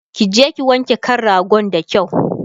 kije ki wanke kan ragon da kyau!